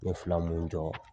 N ye fila mun jɔ